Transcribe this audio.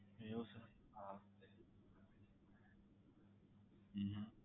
એવું sir હા હમ